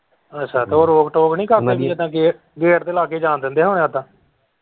ਅੱਛਾ ਉਹ ਰੋਕ ਟੋਕ ਨਹੀਂ ਕਰਦੇ gate gate ਦੇ ਲਾਗੇ ਜਾਣ ਦਿੰਦੇ ਹੁੰਦੇ ਹੁਣੇ ਉੱਦਾਂ।